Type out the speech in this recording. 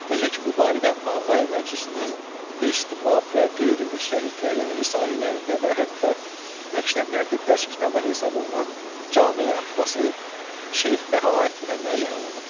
Necə ki, bu barədə Ağayi Məclisinin Bist Bab və Qeyri-Müctəhidlərin risalələrində və hətta məktəblərdə dərs kitabı hesab olunan Cami-i Abbasi Şeyx Bəhaəddinə müəyyən olunubdur.